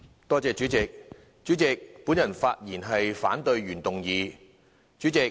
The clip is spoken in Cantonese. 代理主席，我發言反對原議案。